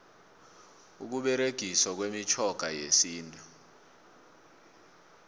ukuberegiswa kwemitjhoga yesintu